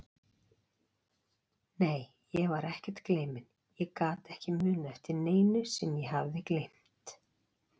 Nei, ég var ekkert gleyminn, ég gat ekki munað eftir neinu sem ég hafði gleymt.